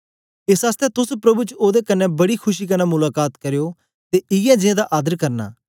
एस आसतै तोस प्रभु च ओदे कन्ने बड़ी खुशी कन्ने मुलाका त करयो ते इयै जें दा आदर करना